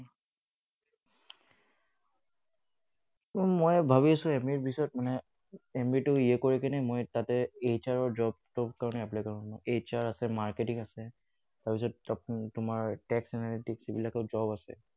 মই ভাবি আছো MBA পাছত মানে MBA তো clear কৰি কিনে মই তাতে HR ৰ job টোৰ কাৰণে apply কৰিম। HR আছে, marketing আছে, তাৰ পাছত তো তোমাৰ tax analytic সেইবিলাকত job আছে।